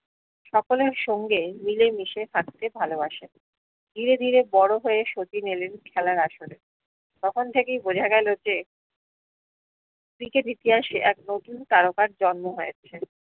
সকলের সঙ্গে মিলে মিশে থাকতে ভালোবাসেন ধীরে ধীরে বড় হয়ে শচীন এলেন খেলার আসরে তখন থেকে বোঝা গেলো যে ক্রিকেট ইতিহাসে এক নতুন তারকার জন্ম হয়েছে